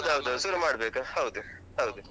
ಹೌದೌದು, ಶುರು ಮಾಡ್ಬೇಕು. ಹೌದು ಹೌದು.